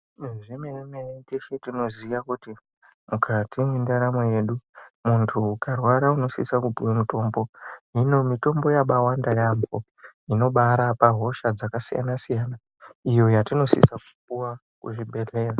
Zvemene mene teshe tinoziya kuti mukati mwendaramo yedu mundu ukarwara inosise kupiwa mutombo, hino mitombo yakawanda yambo inobarapa hosha dzakasiyana siyana iyo yatinosisa kupuwa kuzvibhedhlera.